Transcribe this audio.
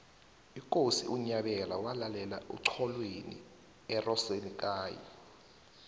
ikosi unyabela walalela oxholweni erosenekayi